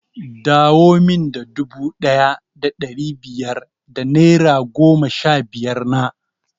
Dawo min da dubu ɗaya da ɗari biyar da naira goma sha biyar na!